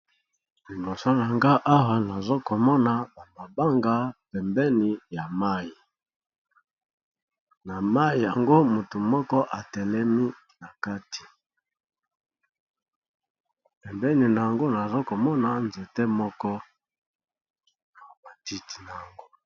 Liboso nanga awa nazo komona ba mabanga pembeni ya mayi na mayi yango motu moko atelemi na kati pembeni nango nazokomona nzete moko na matiti na yango.